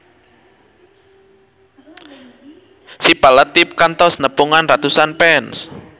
Syifa Latief kantos nepungan ratusan fans